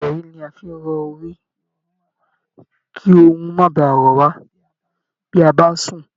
Ìrọ̀rí ni a fi ń rọ orí kí ọrùn má baà ro wá bí a bá sùn